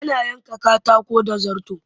Ana yanka katako da zarto